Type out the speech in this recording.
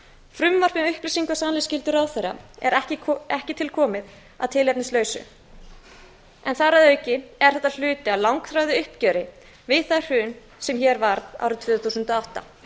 frumvarp um upplýsinga og sannleiksskyldu ráðherra er ekki tilkomið að tilefnislausu en þar að auki er þetta hluti af langþráðu uppgjöri við það hrun sem hér varð árið tvö þúsund og átta